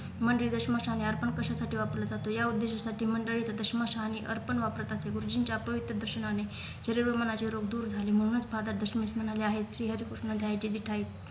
मंदिर दस्मशाने अर्पण कशासाठी वापरला जातो या उद्देशासाठी मंडळी द स्मशानी अर्पण वापरत असे गुरुजींच्या अपवित्र दर्शनाने हिरवे मनाचे रोग दूर झाले म्हणूनच Father दशमीष म्हणाले आहेत श्रीहरिकृष्ण